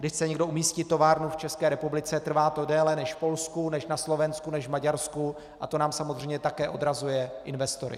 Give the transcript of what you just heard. Když chce někdo umístit továrnu v České republice, trvá to déle než v Polsku, než na Slovensku, než v Maďarsku a to nám samozřejmě také odrazuje investory.